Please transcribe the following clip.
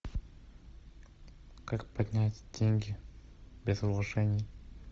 как поднять деньги без вложений